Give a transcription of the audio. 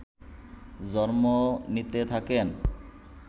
জন্ম নিতে থাকেন